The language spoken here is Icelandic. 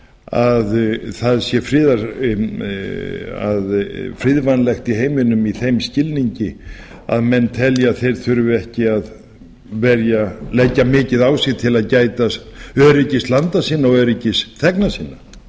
að það sé friðvænlegt í heiminum í þeim skilningi að menn telji að þeir þurfi ekki að leggja mikið á sig til að gæta öryggis landa sinna og öryggis þegna sinna